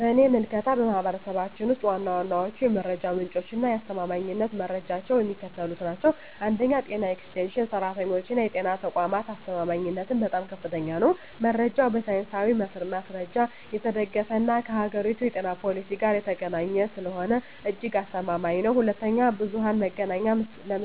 በእኔ ምልከታ፣ በማኅበረሰባችን ውስጥ ዋና ዋናዎቹ የመረጃ ምንጮችና የአስተማማኝነት ደረጃቸው የሚከተሉት ናቸው፦ 1. የጤና ኤክስቴንሽን ሠራተኞችና የጤና ተቋማት አስተማማኝነቱም በጣም ከፍተኛ ነው። መረጃው በሳይንሳዊ ማስረጃ የተደገፈና ከአገሪቱ የጤና ፖሊሲ ጋር የተገናኘ ስለሆነ እጅግ አስተማማኝ ነው። 2. ብዙኃን መገናኛ